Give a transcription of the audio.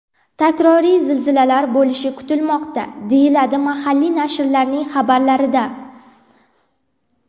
Takroriy zilzilalar bo‘lishi kutilmoqda, deyiladi mahalliy nashrlarning xabarlarida.